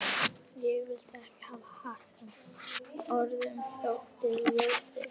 Ég vildi ekki hafa hatt sem öðrum þótti ljótur.